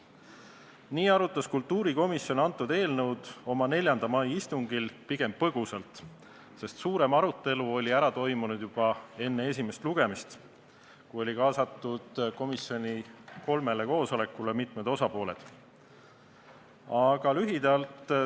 Nii arutas kultuurikomisjon eelnõu oma 4. mai istungil pigem põgusalt, sest suurem arutelu oli ära toimunud juba enne esimest lugemist, kui komisjoni kolmele koosolekule olid kaasatud mitmed osapooled.